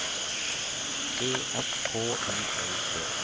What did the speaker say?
E S K I L D